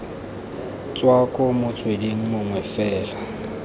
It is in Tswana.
tswa ko motsweding mongwe fela